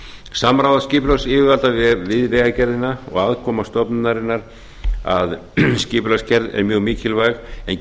samráð skipulagsyfirvalda við vegagerðina og aðkoma stofnunarinnar að skipulagsgerð er mjög mikilvæg en